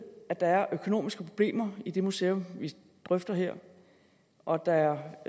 at der er økonomiske problemer i det museum vi drøfter her og at